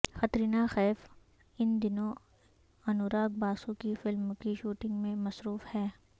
قطرینہ کیف ان دنوں انوراگ باسو کی فلم کی شوٹنگ میں مصروف ہیں